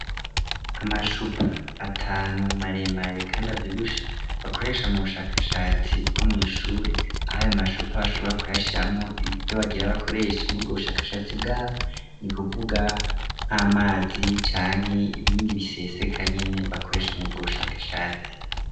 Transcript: Amacupa atanu maremare, kandi avyibushe, bakoresha mu bushakashatsi bwo mw'ishure, aho ayo macupa bashobora kuyashiramwo ivyo bagira bakoreshe murubwo bushakashatsi bwabo, ni kuvuga nk'amazi canke ibindi biseseka nyene, bakoresha mu bwo bushakashatsi.